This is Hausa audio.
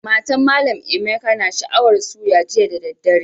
Matan mallam Emeka na sha'awan suya jiya da dare.